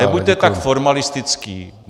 Nebuďte tak formalistický.